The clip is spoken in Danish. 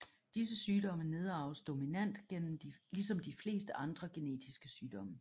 Disse sygdomme nedarves dominant ligesom de fleste andre genetiske sygdomme